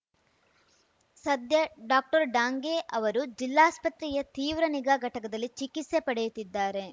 ಸದ್ಯ ಡಾಕ್ಟರ್ಡಾಂಗೆ ಅವರು ಜಿಲ್ಲಾಸ್ಪತ್ರೆಯ ತೀವ್ರ ನಿಗಾ ಘಟಕದಲ್ಲಿ ಚಿಕಿತ್ಸೆ ಪಡೆಯುತ್ತಿದ್ದಾರೆ